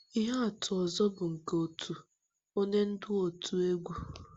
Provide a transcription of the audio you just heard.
Ihe atụ ọzọ bụ nke otu onye ndú òtù egwú.